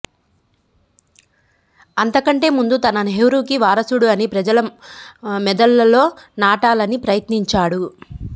అంతకంటె ముందు తన నెహ్రూకి వారసుడు అని ప్రజల మెదళ్లలో నాటాలని ప్రయత్నించాడు